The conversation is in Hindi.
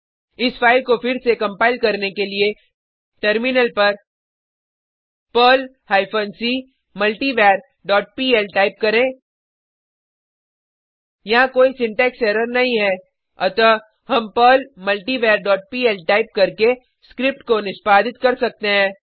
इस फाइल को फिर से कंपाइल करने के लिए टर्मिनल पर Perl hyphen C multivar dot PL type करें यहाँ कोई सिंटेक्स एरर नहीं है अतः हम Perl multivar dot PL type करके स्क्रिप्ट को निष्पादित कर सकते हैं